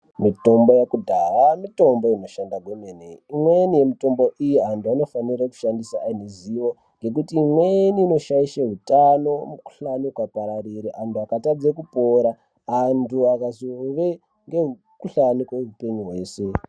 Mitombo yekudhaya mitombo inoshanda kwemene imweni mitombo iyi antu anofanira kushandisa aine zivo ngekuti imweni inoshaishe utano mukuhlani ukapararire antu akatadze kupora antu akazove nemukuhlani kweupenyu hweshe .